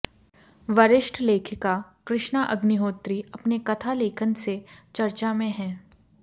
वरिष्ठ लेखिका कृष्णा अग्निहोत्री अपने कथा लेखन से चर्चा में हैं